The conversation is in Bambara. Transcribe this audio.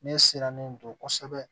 Ne sirannen do kosɛbɛ